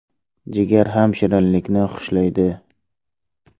Jigar ham shirinlikni xushlaydi.